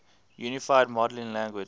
unified modeling language